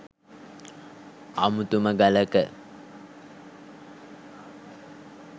අමුතුම ගලක.